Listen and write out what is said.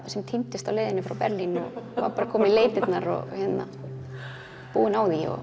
sem týndist á leiðinni frá Berlín og var bara að koma í leitirnar búinn á því og